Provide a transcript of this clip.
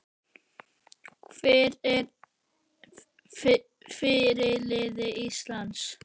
Hver er fyrirliði Íslands?